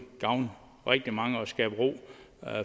gavne rigtig mange og skabe ro